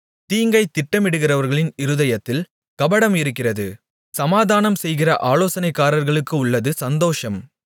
தீங்கை திட்டமிடுகிறவர்களின் இருதயத்தில் கபடம் இருக்கிறது சமாதானம்செய்கிற ஆலோசனைக்காரர்களுக்கு உள்ளது சந்தோஷம்